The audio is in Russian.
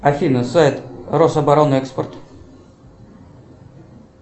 афина сайт рособоронэкспорт